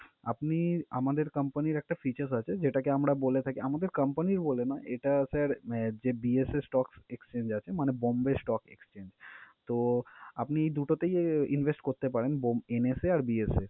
আপনি আমাদের company র একটা features আছে যেটাকে আমরা বলে থাকি আমাদের company র বলে নয়, এটা sir আহ যে BSS stock exchange আছে মানে bombay stock exchange তো আপনি এই দুটোতেই invest করতে পারেন bomb~ NSA এ আর BSS